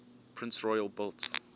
prince royal built